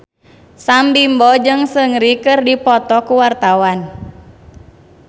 Sam Bimbo jeung Seungri keur dipoto ku wartawan